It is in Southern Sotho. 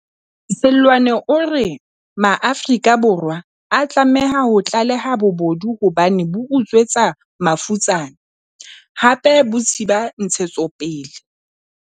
Seloane o re Maafrika Borwa a tlameha ho tlaleha bobodu hobane bo utswetsa mafutsana, hape bo thiba ntshetsopele.